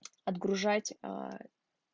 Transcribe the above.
отгружать аа